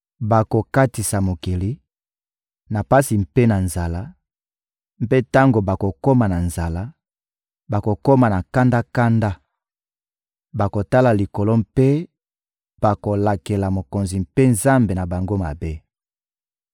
Bakokatisa mokili, na pasi mpe na nzala; mpe tango bakokoma na nzala, bakokoma kanda-kanda, bakotala likolo mpe bakolakela mokonzi mpe Nzambe na bango mabe.